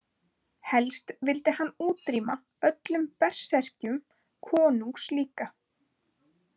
Helst vildi hann útrýma öllum berserkjum konungs líka.